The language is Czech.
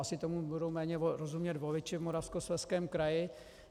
Asi tomu budou méně rozumět voliči v Moravskoslezském kraji.